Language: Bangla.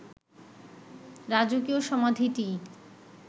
রাজকীয় সমাধিটিই